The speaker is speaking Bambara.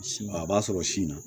A b'a sɔrɔ sin na